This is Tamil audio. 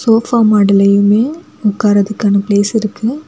சோஃபா மாடல்லையுமெ உக்கார்துக்கான பிளேஸ் இருக்கு.